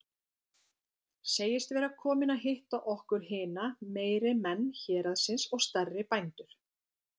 Segist vera kominn að hitta okkur hina meiri menn héraðsins og stærri bændur.